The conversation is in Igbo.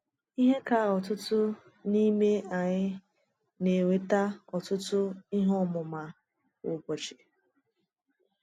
Ihe ka ọtụtụ n’ime anyị na-enweta ọ̀tụtụ ihe ọmụma kwa ụbọchị.